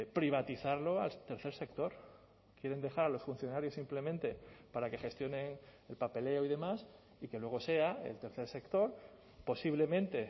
privatizarlo al tercer sector quieren dejar a los funcionarios simplemente para que gestione el papeleo y demás y que luego sea el tercer sector posiblemente